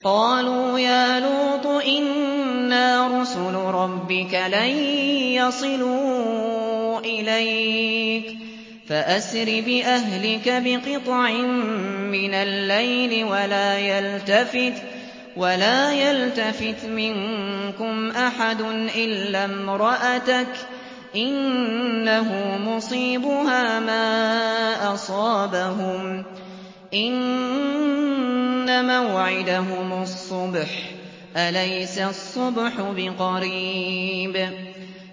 قَالُوا يَا لُوطُ إِنَّا رُسُلُ رَبِّكَ لَن يَصِلُوا إِلَيْكَ ۖ فَأَسْرِ بِأَهْلِكَ بِقِطْعٍ مِّنَ اللَّيْلِ وَلَا يَلْتَفِتْ مِنكُمْ أَحَدٌ إِلَّا امْرَأَتَكَ ۖ إِنَّهُ مُصِيبُهَا مَا أَصَابَهُمْ ۚ إِنَّ مَوْعِدَهُمُ الصُّبْحُ ۚ أَلَيْسَ الصُّبْحُ بِقَرِيبٍ